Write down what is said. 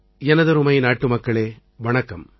எனதருமை நாட்டுமக்களே வணக்கம்